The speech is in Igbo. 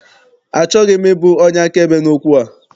Achọghị m ịbụ onye akaebe n'okwu a.